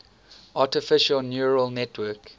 artificial neural network